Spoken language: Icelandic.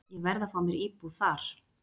Ég verð að fá mér íbúð þar.